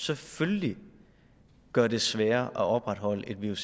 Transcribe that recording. selvfølgelig gør det sværere at opretholde et vuc